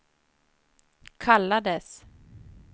kallades